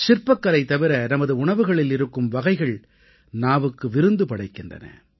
சிற்பக்கலை தவிர நமது உணவுகளில் இருக்கும் வகைகள் நாவுக்கு விருந்து படைக்கின்றன